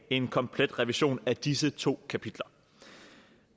en komplet revision af disse to kapitler